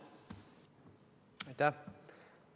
Aitäh!